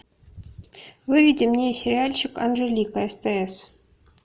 выведи мне сериальчик анжелика стс